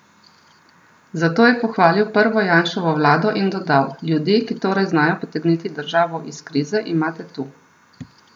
Za to je pohvalil prvo Janševo vlado in dodal: "Ljudi, ki torej znajo potegniti državo iz krize, imate tu.